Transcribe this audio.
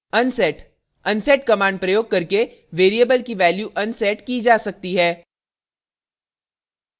unset unset command प्रयोग करके variable की value unset की जा सकती है